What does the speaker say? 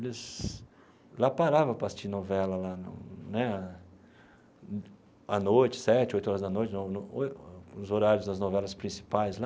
Eles lá paravam para assistir novela lá no né à noite, às sete, oito horas da noite, no no nos horários das novelas principais né.